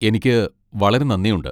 എനിക്ക് വളരെ നന്ദിയുണ്ട്.